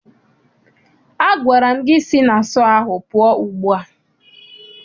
Agwara m gị si na sọọ ahụ pụọ ugbu a!